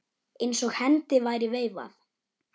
Eins og hendi væri veifað.